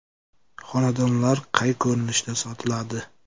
Xonadonlar qay ko‘rinishda sotiladi?